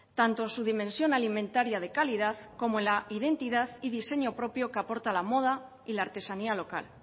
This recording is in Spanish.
tanto su dimensión alimentaria de calidad como la identidad y diseño propio que aporta la moda y la artesanía local